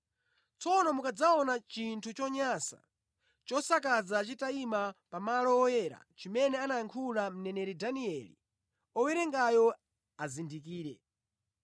“Tsono mukadzaona chinthu chonyansa chosakaza chitayima pamalo oyera chimene anayankhula mneneri Danieli, owerengayo azindikire.